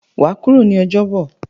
Wàá kúrò ní Ojóbò!